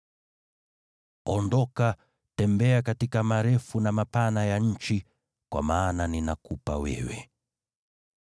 Ondoka, tembea katika marefu na mapana ya nchi, kwa maana ninakupa wewe.”